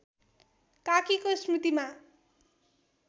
काकीको स्मृतिमा